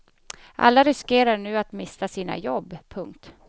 Alla riskerar nu att mista sina jobb. punkt